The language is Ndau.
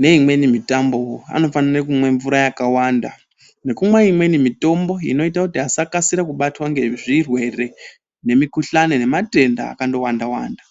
neimweni mitambo wo, anofanira kumwa mvura yakawanda, nekumwa imweni mitombowo, inoita kuti asakasira kubatwa ngezvirwere nemikuhlani nematenda akawanda-wanda.